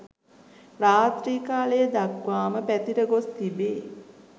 රාත්‍රී කාලය දක්වාම පැතිර ගොස් තිබේ.